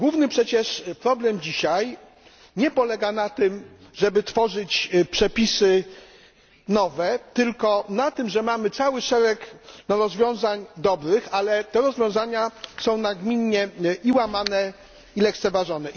Przecież główny problem dzisiaj nie polega na tym, żeby tworzyć przepisy nowe, tylko na tym, że mamy cały szereg rozwiązań dobrych, ale te rozwiązania są nagminnie łamane i lekceważone.